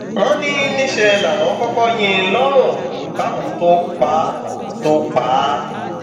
wọn ní níṣẹ láwọn kọkọ yín in lọrùn káwọn tóo pa tóo pa á